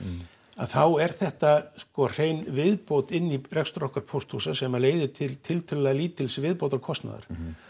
að þá er þetta hrein viðbót inn í rekstur okkar pósthúsa sem leiðir til til til þessa lítils viðbótarkostnaðar